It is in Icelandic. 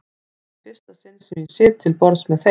Þetta er í fyrsta sinn sem ég sit til borðs með þeim.